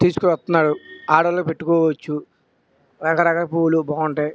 తీసుకువుస్తునాడు. ఆడొల్లు పెట్టుకోవచ్చు రకరకాల పువ్వులు బాగుంటాయి.